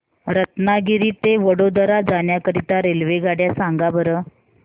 रत्नागिरी ते वडोदरा जाण्या करीता रेल्वेगाड्या सांगा बरं